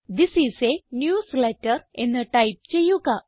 this is a newsletter എന്ന് type ചെയ്യുക